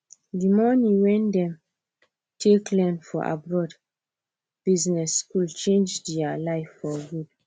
the money wen them take learn for abroad business school change there life for good